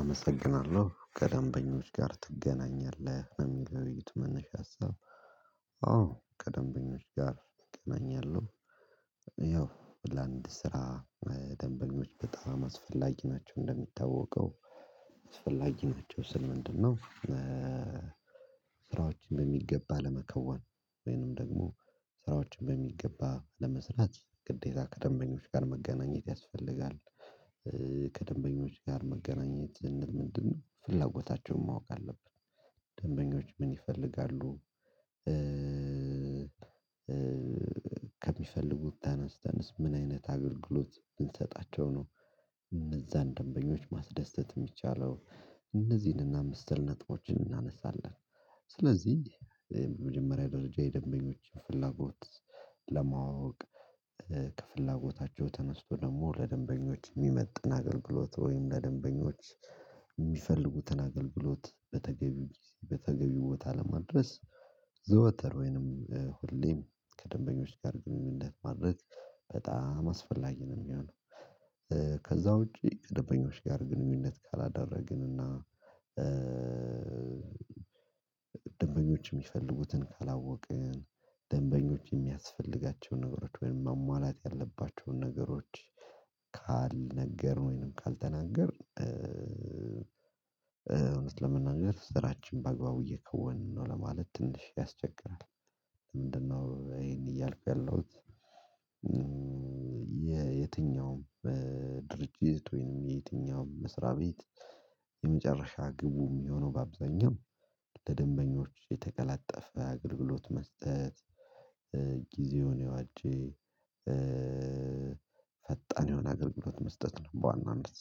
አመሰግናለሁ ከደንበኞች ጋር ትገናኛለህ ለሚል የውይይቱ መነሻ ሀሳብ? አዎ ከደንበኞች ጋር እገናኛለሁ። ያው ለአንድ ስራ ደንበኞች በጣም አስፈላጊ ናቸው። እንደሚታወቀው አስፈላጊ ናቸው ስል ምንድነው? ስራዎችን በሚገባ ለመከወን ወይንም ደግሞ ስራዎችን በሚገባ ለመስራት ግዴታ ከደንበኞች ጋር መገናኘት ያስፈልጋል። ከደንበኞች ጋር መገናኘት ምንድነው ፍላጎታቸውን ማወቅ አለብን ደንበኞች ምን ይፈልጋሉ? ከሚፈልጉት ተነስተንስ ምን አይነት አገልግሎት ብንሰጣቸው ነው። እነዛን ደንበኞች ማስደሰት የሚቻለውን እነዚህንና መስል ነጥቦችን እናነሳለን። ስለዚህ በመጀመሪያ ደረጃ የደንበኞች ፍላጎት ለማወቅ ከፍላጎታቸው ተነስቶ ደግሞ ለደንበኞች የሚመጥን አገልግሎት ወይም ለደንበኞች የሚፈልጉትን አገልግሎት በተገቢ በተገቢው ቦታ ለማድረስ ዘወተር ወይንም ሁሌም ከደንበኞች ጋር ለማድረስ በጣም አስፈላጊ ነው። የሚሆነው ከዛ ውጪ ደበኞች ጋር ግንኙነት ካላደረግን እና ደንበኞች የሚፈልጉትን ካላወቅን ደንበኞች የሚያስፈልጋቸውን ነገሮች ወይም ማሟላት ያለባቸውን ነገሮች ካልነገርን ወይም ካልተናገርን እንደነገር እውነት ለመናገር ስራችን በአግባቡ እየከወንን ነው ለማለት ትንሽ ያስቸግራል። ምንድነው? ይሄን እያልኩ ያለሁት የትኛውም ድርጅት ወይንም የየትኛውም መስሪያ ቤት የመጨረሻ ግቡም የሆነው በአብዛኛው ለደንበኞች የተቀላጠፈ አግገልግሎት መስጠት። ጊዜውን የዋጀ ፈጣን የሆነ አገልግሎት መስጠት ነው በዋናነት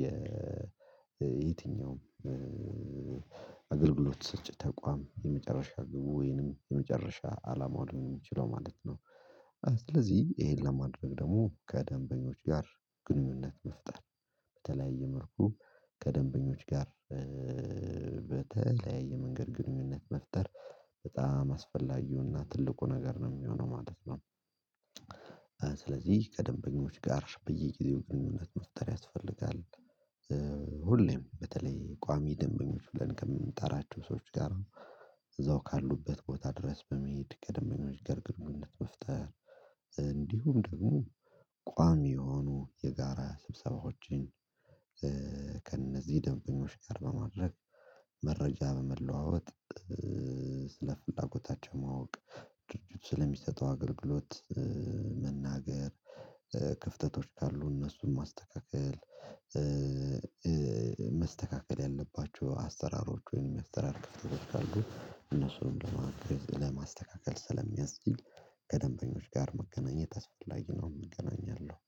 የየትኛውም አገልግሎት ሰጭ ተቋም የመጨረሻ ግቡ ወይንም የመጨረሻ አላማው ሊሆን የሚችለው ማለት ነው። ስለዚህ ይሄን ለማድረግ ደግሞ ከደንበኞች ጋር ግንኙነት መፍጠር በተለያየ መልኩ ከደንበኞች ጋር በተለያየ መንገድ ግንኙነት መፍጠር በጣም አስፈላጊውና ትልቁ ነገር ነው የሚሆነው ማለት ነው። ስለዚህ ከደንበኞች ጋር በየጊዜው ግንኙነት መፍጠር ያስፈልጋል። ሁሌም በተለይ ቋሚ ደንበኞች ብለን ከምንጠራችሁ ሰዎች ጋር እዛው ካሉበት ቦታ ድረስ በመሄድ ከደምበኞች ጋር ግንኙነት መፍጠር እንዲሁም ደግሞ ቋሚ የሆኑ የጋራ ስብሰባዎችን ከእነዚህ ደንበኞች ጋር በማድረግ መረጃ በመለዋወጥ ስለ ፍላጎታቸው ማወቅ ድርጅቱ ስለሚሰጠው አገልግሎት መናገር ክፍተቶች ካሉ እነሱን መስተካከል ያለባችሁ አስተራሮች ወይም የሚያስተራርክ አስተራሮች ካሉ እነሱን ለማስተካከል ስለሚያስችል ከደንበኞች ጋር መገናኘት አስፈላጊ ነው። የምገናኘው